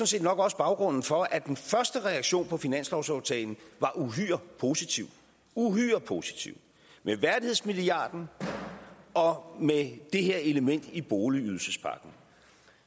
set nok også baggrunden for at den første reaktion på finanslovsaftalen var uhyre positiv uhyre positiv med værdighedsmilliarden og med det her element i boligydelsespakken